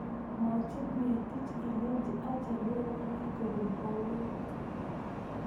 Mwachin Ngetich ilechi achelewani kobun baruet